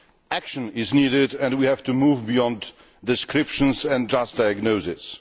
Action is needed and we have to move beyond descriptions and diagnosis.